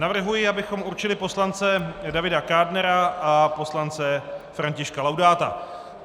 Navrhuji, abychom určili poslance Davida Kádnera a poslance Františka Laudáta.